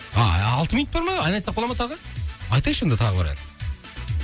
ааа алты минут бар ма ән айтсақ бол ма тағы айтайықшы онда тағы бір ән